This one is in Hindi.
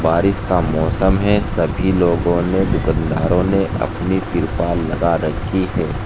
बारिश का मौसम है सभी लोगों ने दुकानदारों ने अपनी तिरपाल लगा रखी है।